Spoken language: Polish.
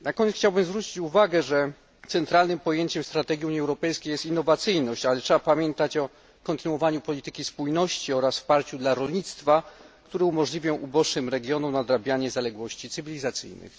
Na koniec chciałbym zwrócić uwagę, że centralnym pojęciem strategii Unii Europejskiej jest innowacyjność, ale trzeba pamiętać o kontynuowaniu polityki spójności oraz wsparciu dla rolnictwa, które umożliwią uboższym regionom nadrabianie zaległości cywilizacyjnych.